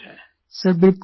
प्रेम ji sir बिल्कुल